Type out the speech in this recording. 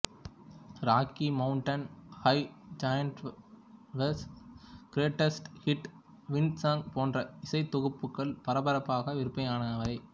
rakhi Mountain high John Denver's greatest hit wind song போன்ற இசைத்தொகுப்புகள் பரபரப்பாக விற்பனையானவை